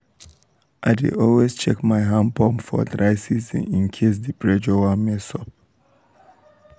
i dey always check my hand pump for dry season in case the pressure wan mess up.